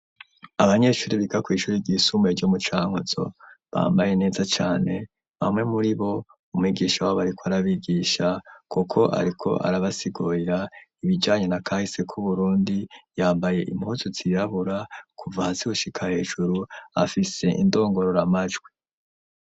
Abanyeshure biga kw'ishure ry'isumbuye ryo mucankuzo bambaye neza cane bamwe muriko umwigisha w'abariko arabigisha kuko ariko arabasigurira ibijanye na kahise k'uburundi, yambaye impuzu yirabura kuva hasi gushika hejuru afise indongororamajwi.